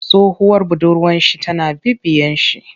Tsohuwar budurwar shi tana bibiyen shi.